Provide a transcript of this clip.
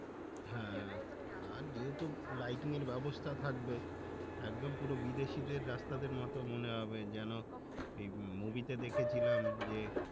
হ্যাঁ আর যেহেতু Lighting এর ব্যবস্থা থাকবে একদম পুরো বিদেশিদের রাস্তার মতো মনে হবে যেন move movie তে দেখেছিলাম যে